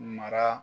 Mara